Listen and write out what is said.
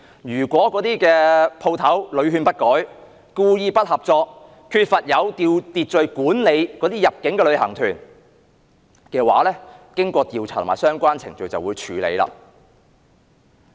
如果有關店鋪屢勸不改，故意不合作，缺乏有秩序管理入境旅行團，經過調查及相關程序，當局便會處理。